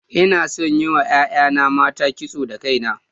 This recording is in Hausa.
Ina son yin wa 'ya'yana mata kiso da kaina.